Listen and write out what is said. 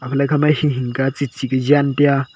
lale ikha ma hing hing ka chi chi jan tai aa.